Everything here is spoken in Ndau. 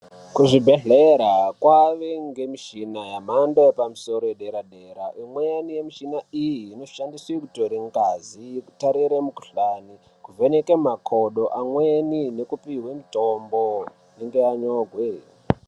Kuzvibhedhlera kwaive nemishina yemhando yepamusoro yedera dera imweni mishuna iyii inoshandiswe kutore ngazi kutarire mikhuhlani kuvheneka makodo amweni nekupiwa mitombo inenge yanyorwe.